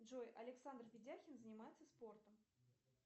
джой александр ведяхин занимается спортом